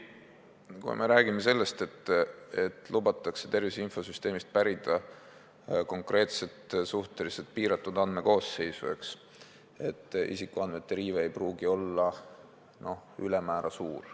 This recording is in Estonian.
Kui me räägime sellest, et lubatakse tervise infosüsteemist pärida konkreetset suhteliselt piiratud andmekoosseisu, siis isiku õiguste riive ei pruugi olla ülemäära suur.